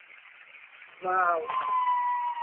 Vav.